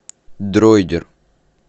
дроидер